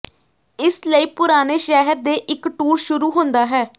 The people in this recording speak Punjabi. ਇਸ ਲਈ ਪੁਰਾਣੇ ਸ਼ਹਿਰ ਦੇ ਇੱਕ ਟੂਰ ਸ਼ੁਰੂ ਹੁੰਦਾ ਹੈ